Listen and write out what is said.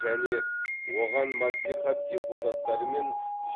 және оған мәслихат депутаттары мен